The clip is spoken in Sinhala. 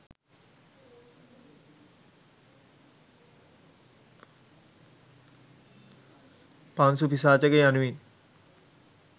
පාංසුපිසාචක යනුවෙන්